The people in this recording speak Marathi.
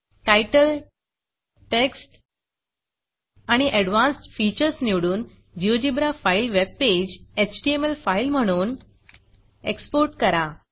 Titleटाइटल Textटेक्स्ट आणि एडवान्स्ड featuresअडवांसड फीचर्स निवडून GeoGebra file webpage HTML file म्हणून Exportएक्सपोर्टकरा